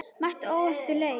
Mætti óvopnuð til leiks.